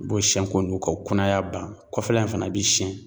U b'o siyɛn k'o nugu k'o kunaya ban, kɔfɛla in fana bi siɲɛn.